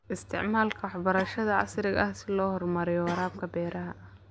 Isticmaalka waxbarashada casriga ah si loo horumariyo waraabka beeraha.